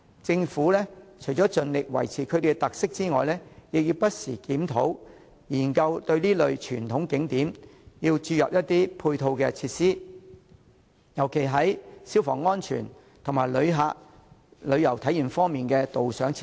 政府除了應盡力保持其特色外，亦應不時檢討和研究為這類傳統景點添加配套設施，尤其是消防安全設施，以及增添旅遊體驗的導賞設施。